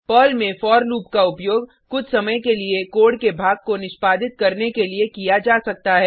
Perl में for loop का उपयोग कुछ समय के लिए कोड के भाग को निष्पादित करने के लिए किया जा सकता है